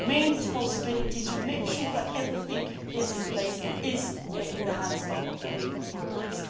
But the main responsibility to make sure that everything is in place is in the hands of the Greek authorities.